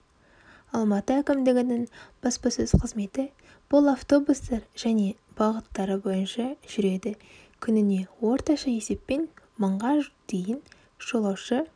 алматы әкімдігінің баспасөз қызметі бұл автобустар және бағыттары бойынша жүреді күніне орташа есеппен мыңға дейін жолаушы